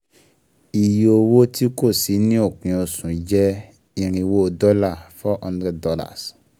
Iye owó tí kò sí ni òpin oṣù jẹ́ irinwó dọ́là four hundred dollars